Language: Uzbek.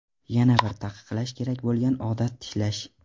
Yana bir taqiqlash kerak bo‘lgan odat tishlash.